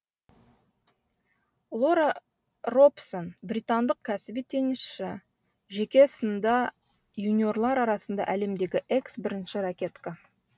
лора робсон британдық кәсіби теннисшы жеке сында юниорлар арасында әлемдегі экс бірінші ракетка